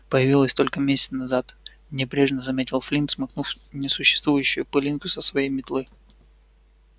появилась только месяц назад небрежно заметил флинт смахнув несуществующую пылинку со своей метлы